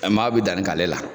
E maa bɛ danni k'ale la